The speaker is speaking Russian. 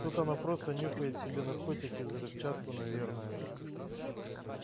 тут она просто нюхает себе наркотики взрывчатку наверное